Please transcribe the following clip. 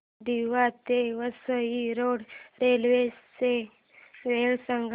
दिवा ते Vasai road railway च्या वेळा सांगा